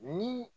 Ni